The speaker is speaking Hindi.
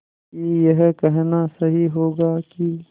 कि यह कहना सही होगा कि